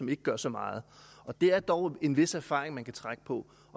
ikke gør så meget og der er dog en vis erfaring man kan trække på